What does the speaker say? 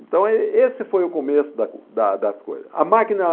Então, ê esse foi o começo da da das coisas. A máquina